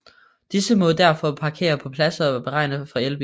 Disse må derfor parkere på pladser beregnet for elbiler